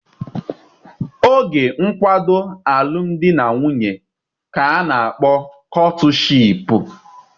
Oge nkwado alụmdi na nwunye ka a na-akpọ kọtụshịịpu.